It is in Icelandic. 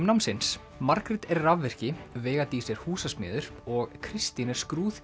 námsins Margrét er rafvirki veiga Dís er húsasmiður og Kristín